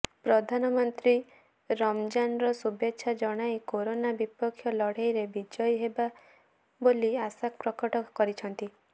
ପ୍ରଧାନମନ୍ତ୍ରୀ ରମଜାନର ଶୁଭେଚ୍ଛା ଜଣାଇ କରୋନା ବିପକ୍ଷ ଲଢେଇରେ ବିଜୟୀ ହେବା ବୋଲି ଆଶା ପ୍ରକଟ କରିଛନ୍ତି